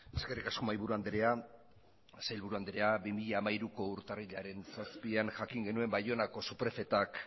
eskerrik asko mahaiburu andrea sailburu andrea bi mila hamairuko urtarrilaren zazpian jakin geunen baionako suprefetak